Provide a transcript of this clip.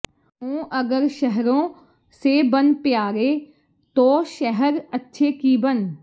ਹੋਂ ਅਗਰ ਸ਼ਹਰੋਂ ਸੇ ਬਨ ਪਯਾਰੇ ਤੋ ਸ਼ਹਰ ਅੱਛੇ ਕਿ ਬਨ